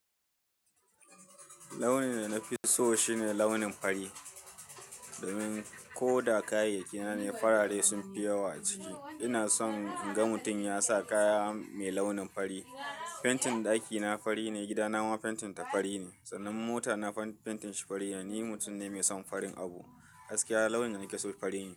Launin da na fi so shine launin fari. Domin ko da kayayyaki na ne farare sun fi yawa a ciki. Ina son in ga mutum ya sa kaya mai launin fari. Fentin ɗakina fari ne, gida na ma fentin ta fari ne, sannan mota na fentin shi fari ne. Ni mutum ne mai son farin abu. Gaskiya launin da na ke so fari ne.